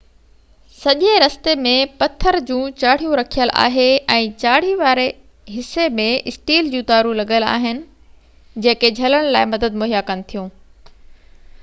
سڄي رستي ۾ پٿر جون چاڙهيون رکيل آهي ۽ چاڙهي واري حصي ۾ اسٽيل جون تارون لڳل آهن جيڪي جهلڻ لاءِ مدد مهيا ڪن ٿيون